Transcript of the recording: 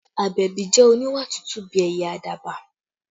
Abebi jẹ́ oníwà tútù bí ẹyẹ àdàbà